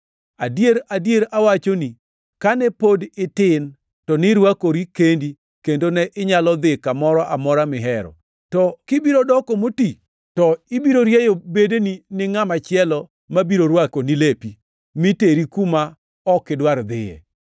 Adier, adier awachoni, kane pod itin, to nirwakori kendi kendo ne inyalo dhi kamoro amora mihero; to kibiro doko moti, to ibiro rieyo bedeni ne ngʼama chielo ma biro rwakoni lepi mi teri kuma ok idwar dhiye.”